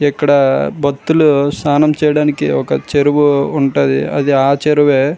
ఇక్కడ భక్తులు స్నానం చెయ్యడానికి ఒక చెరువు ఉంటది. అది ఆ చెరువే.